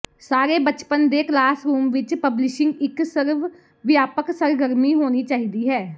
ਸਾਰੇ ਬਚਪਨ ਦੇ ਕਲਾਸਰੂਮ ਵਿੱਚ ਪਬਲਿਸ਼ਿੰਗ ਇੱਕ ਸਰਵਵਿਆਪਕ ਸਰਗਰਮੀ ਹੋਣੀ ਚਾਹੀਦੀ ਹੈ